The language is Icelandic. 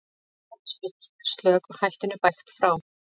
Hornspyrnan er slök og hættunni bægt frá.